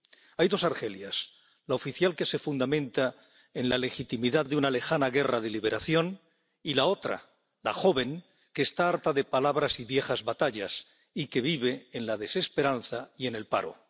Hay dos Argelias la oficial, que se fundamenta en la legitimidad de una lejana guerra de liberación, y la otra, la joven, que está harta de palabras y viejas batallas y que vive en la desesperanza y en el paro.